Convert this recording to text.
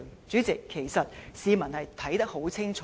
主席，其實發生甚麼事，市民是看得很清楚。